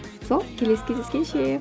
сол келесі кездескенше